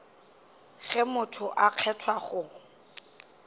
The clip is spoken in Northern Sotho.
ge motho a kgethwa go